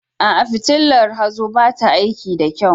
A'a, fitilar hazo ba ta aiki da kyau.